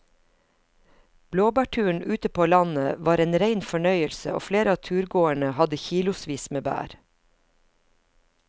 Blåbærturen ute på landet var en rein fornøyelse og flere av turgåerene hadde kilosvis med bær.